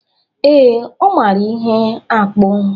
Ee, ọ mara ihe akpụ